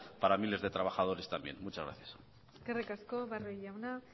para miles de trabajadores también muchas gracias eskerrik asko barrio jauna